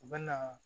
U bɛ na